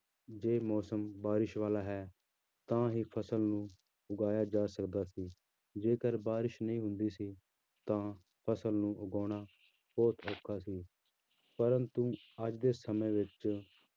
ਜਿਵੇਂ ਕਿ ਜੇ ਮੌਸਮ ਬਾਰਿਸ਼ ਵਾਲਾ ਹੈ ਤਾਂ ਹੀ ਫ਼ਸਲ ਨੂੰ ਉਗਾਇਆ ਜਾ ਸਕਦਾ ਸੀ ਜੇਕਰ ਬਾਰਿਸ਼ ਨਹੀਂ ਹੁੰਦੀ ਸੀ ਤਾਂ ਫ਼ਸਲ ਨੂੰ ਉਗਾਉਣਾ ਬਹੁਤ ਔਖਾ ਸੀ ਪਰੰਤੂ ਅੱਜ ਦੇ ਸਮੇਂ ਵਿੱਚ